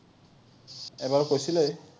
এবাৰ কৈছিলে।